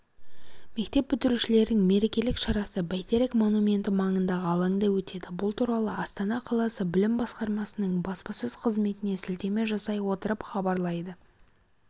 мектеп бітірушілердің мерекелік шарасы бәйтерек монументі маңындағы алаңда өтеді бұл туралы астана қаласы білім басқармасының баспасөз қызметіне сілтеме жасай отырып хабарлайды